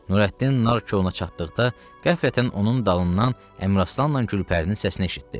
Nurəddin nardcoluna çatdıqda qəflətən onun dalından Əmraslanla Gülpərinin səsini eşitdi.